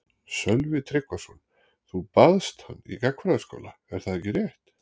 Sölvi Tryggvason: Þú baðst hans í gagnfræðaskóla er það ekki rétt?